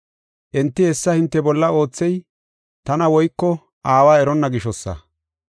Enti hessa hinte bolla oothey tana woyko Aawa eronna gishosa.